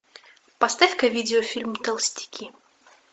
поставь ка видеофильм толстяки